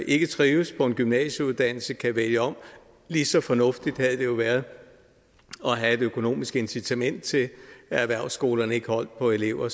ikke trives på en gymnasieuddannelse kan vælge om lige så fornuftigt havde det jo været at have et økonomisk incitament til at erhvervsskolerne ikke holdt på elever